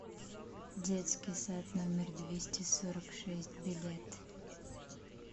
детский сад номер двести сорок шесть билет